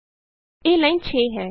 ਇਹ ਲਾਈਨ 6 ਹੈ